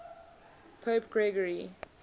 pope gregory